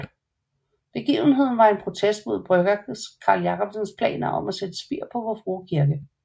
Begivenheden var en protest mod brygger Carl Jacobsens planer om at sætte spir på Vor Frue Kirke